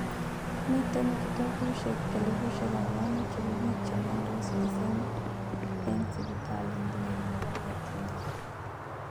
Miten gitoogusyiek 4,000 chebo biik cheniondos mising' en sipitalil nelel nebo Nightingale.